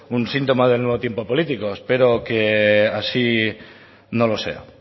un síntoma del nuevo tiempo político espero que así no lo sea